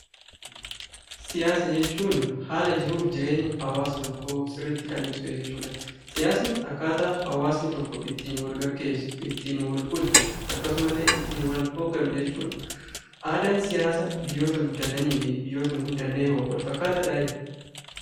Siyaasa jechuun haala jiruuf jireenya hawaasa tokkoo sirriitti kan ibsu jechuudha. Siyaasni akkaataa hawaasni tokko ittiin walgeggeessu, ittiin walbulchu akkasumallee ittiin wal hoogganu jechuudha. Aadaan siyaasa biyyoota guddatanii fi biyyoota hin guddanneewoo walfakkaataadhaayi?